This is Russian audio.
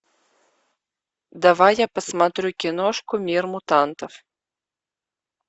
давай я посмотрю киношку мир мутантов